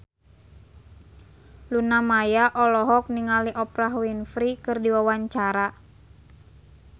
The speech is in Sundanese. Luna Maya olohok ningali Oprah Winfrey keur diwawancara